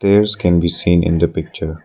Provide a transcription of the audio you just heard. Stairs can be seen in the picture.